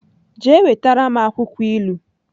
Jee wetara m akwukwo ilu!